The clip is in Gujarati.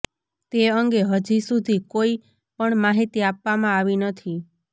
તે અંગે હજી સુધી કોઈ પણ માહિતી આપવામાં આવી નથી